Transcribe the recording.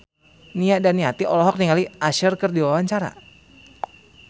Nia Daniati olohok ningali Usher keur diwawancara